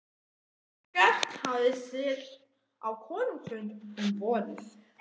Eggert hafði siglt á konungsfund um vorið.